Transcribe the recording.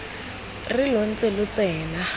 re lo ntse lo tsena